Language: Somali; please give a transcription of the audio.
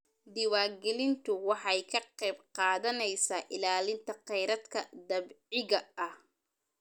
Diiwaangelintu waxay ka qayb qaadanaysaa ilaalinta khayraadka dabiiciga ah.